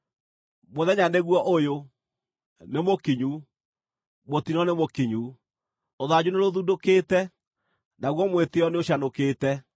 “ ‘Mũthenya nĩguo ũyũ! Nĩmũkinyu! Mũtino nĩmũkinyu, rũthanju nĩrũthundũkĩte, naguo mwĩtĩĩo nĩũcanũkĩte!